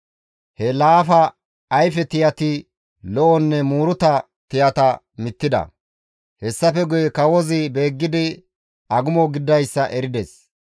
He laafa ayfe tiyati lo7onne muuruta tiyata mittida. Hessafe guye kawozi beeggidi agumo gididayssa erides.